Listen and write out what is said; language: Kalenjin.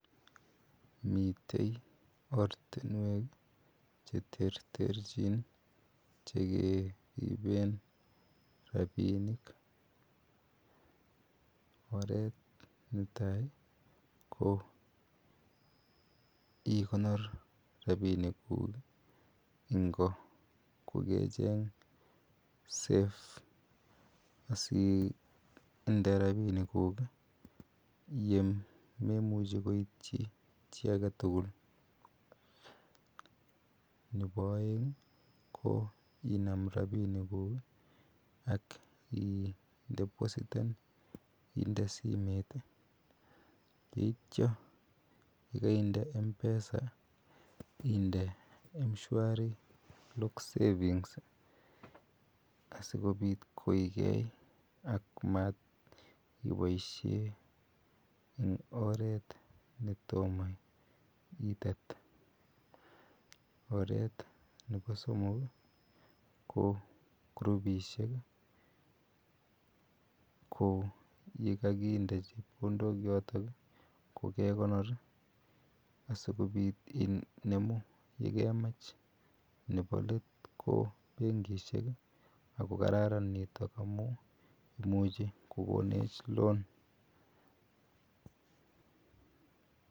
Rabinik chemi simoisiek koba kamanut missing. Ki en keny ko kikibati rabinik en lalatinuek. Ko che murenik kokiiben wallets anan kotit ih ko en kwanyik kokinda kabetisiek. Ko kochang kewelutik amuun ki o chorset nebo rabisiek ak kiimuch ibet rabisiek. Kikotaret kora simoisiek ih, kekonoren chebkondok ako imuche ibaishen chebkondok choton en sait agetugul. En ingunon imuchi iluban kit nekeal ibaisien simet amuun kikechob kelibanen simoisiek imuche iakyi chito koite koret agetugul akimuche inemu rabisiek choto kora.